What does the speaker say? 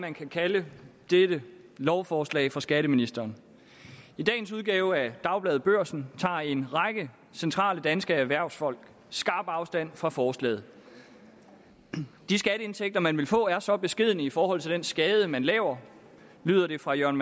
man kan kalde dette lovforslag fra skatteministeren i dagens udgave af dagbladet børsen tager en række centrale danske erhvervsfolk skarp afstand fra forslaget de skatteindtægter man vil få er så beskedne i forhold til den skade man laver lyder det fra jørgen